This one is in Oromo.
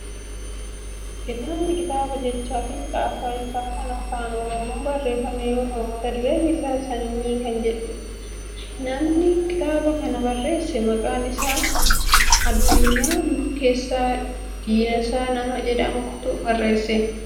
Kitaabni kitaaba jechaa fi caasaa isaa kan afaan oromoon barreeffame yoo ta'u mata dureen isaa sanyii kan jedhudha. Namni kitaaba kana barreesse maqaan isaa Addunyaa Barkeessaa Dinsaa nama jedhamutu barreesse.